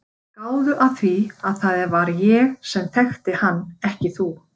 Gáðu að því að það var ég sem þekkti hann en ekki þú.